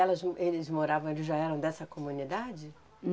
Elas m, eles moravam, eles já eram dessa comunidade?